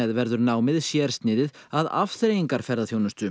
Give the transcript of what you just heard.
verður námið sérsniðið að